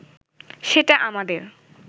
সেটা আমাদের